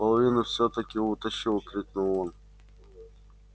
половину всё-таки утащил крикнул он